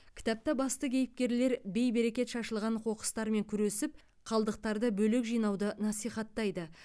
кітапта басты кейіпкерлер бейберекет шашылған қоқыстармен күресіп қалдықтарды бөлек жинауды насихаттайды